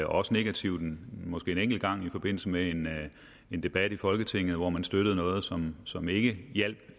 også negativt måske en enkelt gang i forbindelse med en debat i folketinget hvor man støttede noget som som ikke hjalp